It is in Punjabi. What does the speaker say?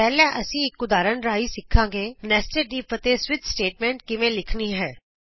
ਪਹਿਲਾਂ ਅਸੀਂ ਇਕ ਉਦਾਹਰਣ ਰਾਹੀਂ ਸਿਖਾਂਗੇ ਨੈਸਟਡ ਇਫ ਅਤੇ ਸਵਿਚ ਸਟੇਟਮੈਂਟ ਕਿਵੇਂ ਲਿਖਣੀ ਹੈ